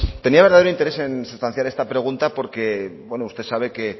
tenía verdadero interés en sustanciar esta pregunta porque bueno usted sabe que